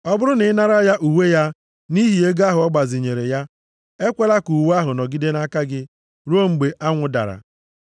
Ọ bụrụ na ị nara ya uwe ya nʼihi ego ahụ ị gbazinyere ya, ekwela ka uwe ahụ nọgide nʼaka gị ruo mgbe anwụ dara.